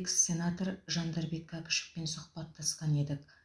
экс сенатор жандарбек кәкішевпен сұхбаттасқан едік